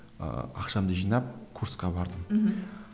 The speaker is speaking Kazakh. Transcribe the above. ыыы ақшамды жинап курсқа бардым мхм